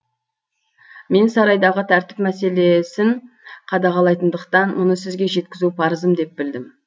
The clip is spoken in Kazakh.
мен сарайдағы тәртіп мәселесін қадағалайтындықтан мұны сізге жеткізу парызым деп білдім